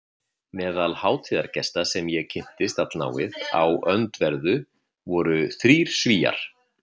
Meðal hátíðargesta sem ég kynntist allnáið í öndverðu voru þrír Svíar